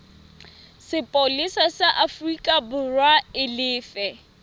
sepolesa sa aforikaborwa e lefe